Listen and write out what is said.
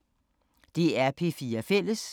DR P4 Fælles